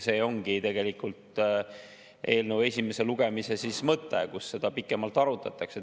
See ongi eelnõu esimese lugemise mõte, seal seda pikemalt arutatakse.